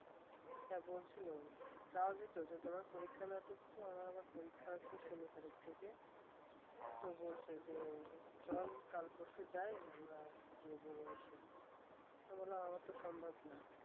হ্যাঁ বলছিল যায়নি তো তুই পরীক্ষা না হত তো আমার পরীক্ষা শেষ হলে চল কাল-পরশু যায় গিয়ে ঘুরে আসি আমি বললাম আমার তো সম্ভব না